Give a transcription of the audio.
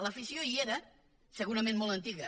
l’afició hi era segurament molt antiga